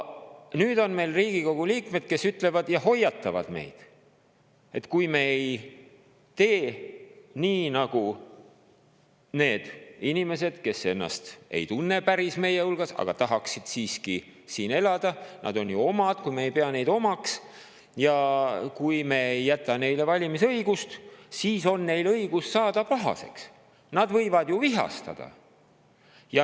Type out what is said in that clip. Nüüd on siin Riigikogu liikmed, kes hoiatavad meid, et kui me ei tee nii, nagu need inimesed, kes ennast ei tunne päris meie hulka, aga tahaksid siiski siin elada, kes on omad ja kui meie ei pea neid omaks, kui me ei jäta neile valimisõigust, siis on neil õigus saada pahaseks, nad võivad ju vihastada.